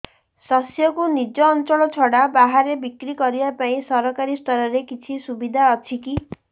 ଶସ୍ୟକୁ ନିଜ ଅଞ୍ଚଳ ଛଡା ବାହାରେ ବିକ୍ରି କରିବା ପାଇଁ ସରକାରୀ ସ୍ତରରେ କିଛି ସୁବିଧା ଅଛି କି